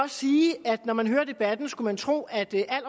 sige at når man hører debatten skulle man tro at det er